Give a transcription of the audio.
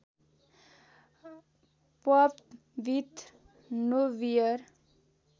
pub with no beer